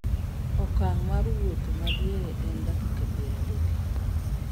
okang' mar wuotho madiere en dakiaka 30